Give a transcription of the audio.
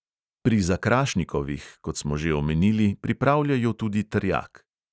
Pri zakrašnikovih, kot smo že omenili, pripravljajo tudi trjak.